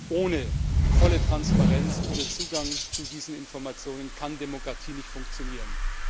Ohne volle Transparenz, ohne Zugang zu diesen Informationen kann Demokratie nicht funktionieren.